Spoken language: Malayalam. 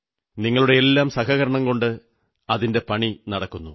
നിങ്ങളുടെയെല്ലാം സഹകരണം കൊണ്ട് അതിന്റെ പണി നടക്കുന്നു